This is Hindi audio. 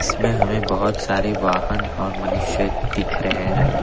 इसमें हमें बहुत सारी वाहन और मनुष्य दिख रहे हैं।